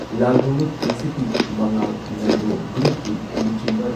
ꯂꯥꯜꯍꯧꯂꯨꯞ KCP Mangal Nando ꯒ꯭ꯔꯨꯞꯀꯤ ꯂꯨꯆꯤꯡꯕ